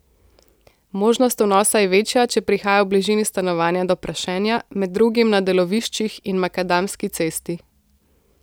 Možnost vnosa je večja, če prihaja v bližini stanovanja do prašenja, med drugim na deloviščih in makadamski cesti.